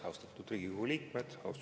Austatud Riigikogu liikmed!